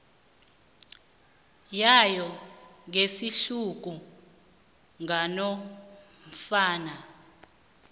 wayo ngesihluku nganofana